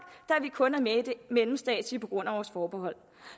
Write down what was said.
kun er med i det mellemstatslige på grund af vores forbehold